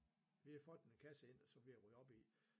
Vi har fået den kasse ind som jeg rydder op i